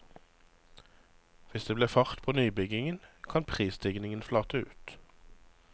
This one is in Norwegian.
Hvis det blir fart på nybyggingen, kan prisstigningen flate ut.